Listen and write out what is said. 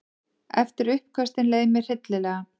Eftir uppköstin leið mér hryllilega.